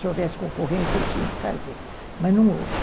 Se houvesse concorrência, eu tinha que fazer, mas não houve.